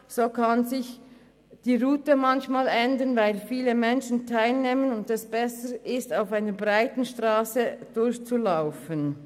So kann sich die Route manchmal ändern, weil viele Menschen teilnehmen und es besser ist, auf einer breiteren Strasse zu laufen.